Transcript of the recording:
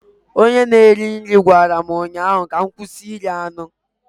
Onye na-eri nri gwara m ụnyaahụ ka m kwụsị iri anụ